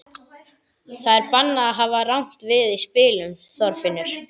Það er bannað að hafa rangt við í spilum, Þorfinnur.